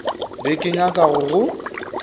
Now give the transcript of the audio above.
be ke nyaka go go